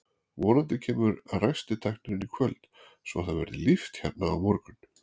Vonandi kemur ræstitæknirinn í kvöld svo að það verði líft hérna á morgun.